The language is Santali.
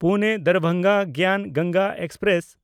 ᱯᱩᱱᱮ–ᱫᱟᱨᱵᱷᱟᱝᱜᱟ ᱜᱮᱭᱟᱱ ᱜᱚᱝᱜᱟ ᱮᱠᱥᱯᱨᱮᱥ